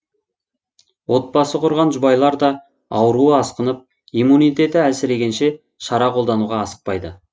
отбасы құрған жұбайлар да ауруы асқынып иммунитеті әлсірегенше шара қолдануға асықпайды